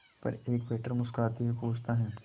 पर एक वेटर मुस्कुराते हुए पूछता है